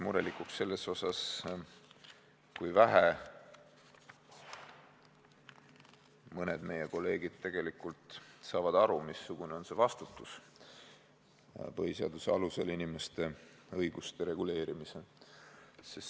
Murelikuks selles osas, kui vähe mõned meie kolleegid tegelikult saavad aru, missugune on vastutus põhiseaduse alusel inimeste õiguste reguleerimisel.